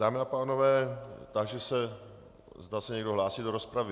Dámy a pánové, táži se, zda se někdo hlásí do rozpravy.